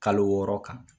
Kalo wɔɔrɔ kan